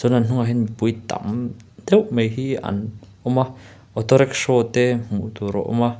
chuan an hnungah hian mipui tam deuh mai hi an awm a auto rickshaw te hmuh tur a awm a.